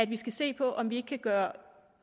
vi skal se på om vi ikke kan gøre